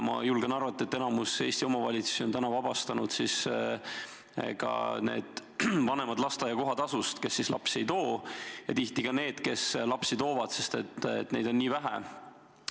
Ma julgen arvata, et enamik Eesti omavalitsusi on vabastanud ka need vanemad lasteaia kohatasust, kes lapsi sinna ei too, ja tihti ka need, kes lapsi sinna toovad, sest neid on nii vähe.